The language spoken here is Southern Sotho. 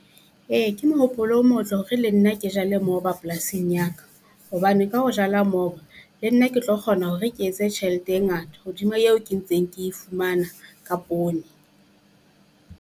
Ee ke mohopolo o motle hore le nna ke jale moba polasing ya ka, hobane ka ho jala moba le nna ke tlo kgona hore ke etse tjhelete e ngata hodima eo ke ntseng ke e fumana ka poone.